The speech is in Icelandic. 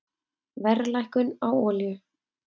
Verðlækkun á olíu